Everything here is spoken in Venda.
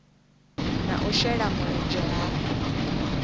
na u shela mulenzhe ha